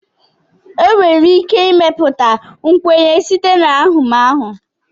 enwere ike ịmepụta nkwenye site na ahụmahụ